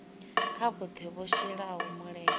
kha vhoṱhe vho shelaho mulenzhe